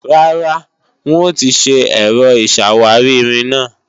Rárá, wọn ò tì ṣe Ẹ̀rọ ìṣàwárí-irin náà